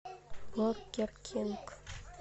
бургер кинг